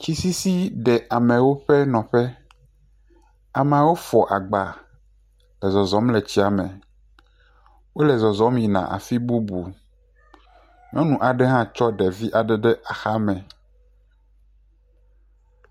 Tsi sisi ɖe amewo ƒe nɔƒe. ameawo fɔ agba le zɔzɔm le tsia me. Wole zɔzɔm yina afi bubu. Nyɔnu aɖe hã tsɔ devi aɖe ɖe axa me.